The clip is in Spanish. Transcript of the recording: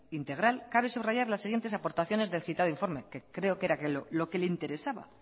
análisis integral cabe subrayar las siguientes aportaciones del citado informe que creo que era lo que le interesaba